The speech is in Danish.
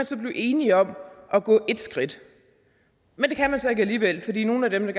så blive enige om at gå et skridt men det kan man så ikke alligevel fordi nogle af dem